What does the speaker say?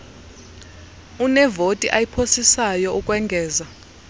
unevoti ayiphosayo ukwengeza